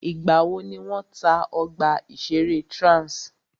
Ìgbà wò ni wọ́n tá ọgbà ìṣẹ̀rẹ́ Trans?